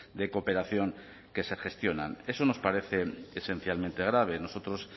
de cooperación que se gestionan eso nos parece esencialmente grave nosotros